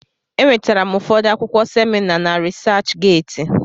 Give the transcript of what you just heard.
E nwetara m ụfọdụ akwụkwọ semina na Risach Geeti.